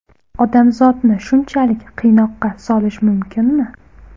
Odamzodni shunchalik qiynoqqa solish mumkinmi?